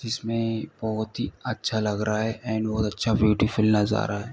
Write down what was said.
जिसमें बहोत ही अच्छा लग रहा है एंड बहोत अच्छा ब्यूटीफुल नजारा है।